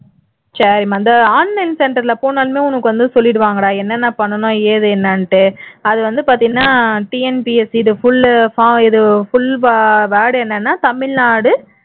சரிம்மா இந்த online center ல போனாலே உனக்கு வந்து சொல்லிடுவாங்கடா என்னென்ன பண்ணனும் ஏது என்னென்னுட்டு அது வந்து பாத்தீன்னா TNPSC இது full word என்னென்னா tamilnadu